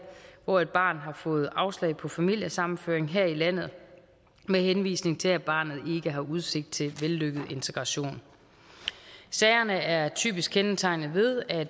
hvor et barn har fået afslag på familiesammenføring her i landet med henvisning til at barnet ikke har udsigt til vellykket integration sagerne er typisk kendetegnet ved at